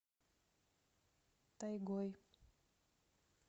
тайгой